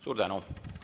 Suur tänu!